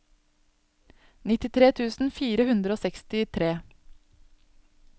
nittitre tusen fire hundre og sekstitre